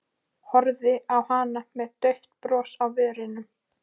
Horfði á hana með dauft bros á vörunum.